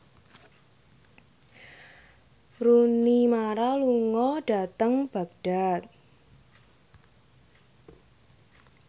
Rooney Mara lunga dhateng Baghdad